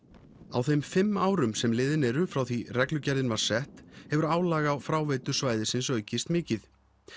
á þeim fimm árum sem liðin eru frá því reglugerðin var sett hefur álag á fráveitu svæðisins aukist mikið